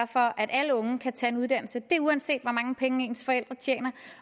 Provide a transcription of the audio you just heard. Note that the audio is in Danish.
for at alle unge kan tage en uddannelse uanset hvor mange penge ens forældre tjener